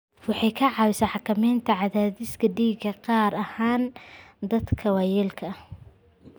Waxay ka caawisaa xakamaynta cadaadiska dhiigga, gaar ahaan dadka waayeelka ah.